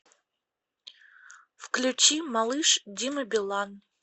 включи малыш дима билан